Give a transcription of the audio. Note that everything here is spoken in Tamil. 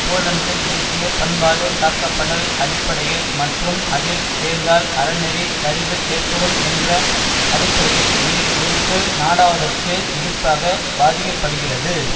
போலந்து தேசிய பண்பாடு காக்கப்படல் அடிப்படையில் மற்றும் அதில் சேர்ந்தால் அறநெறிச் சரிவு ஏற்படும் என்ற அடிப்படையில் வில் உறுப்பு நாடாவதற்கு எதிர்ப்பாக வாதிக்கப்படுகிறது